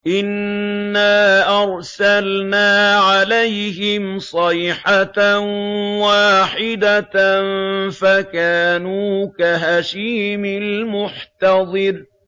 إِنَّا أَرْسَلْنَا عَلَيْهِمْ صَيْحَةً وَاحِدَةً فَكَانُوا كَهَشِيمِ الْمُحْتَظِرِ